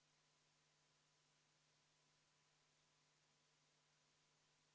Juhatajale on tulnud kiri: võtan tagasi muudatusettepaneku nr 13 3, lehekülg 23, eelnõu 364 – Helir-Valdor Seeder.